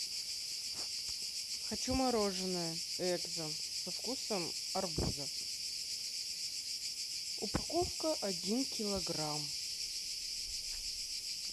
хочу мороженое экзо со вкусом арбуза упаковка один килограмм